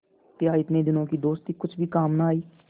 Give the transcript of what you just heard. क्या इतने दिनों की दोस्ती कुछ भी काम न आवेगी